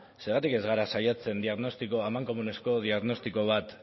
zergatik ez gara saiatzen amankomunezko diagnostiko bat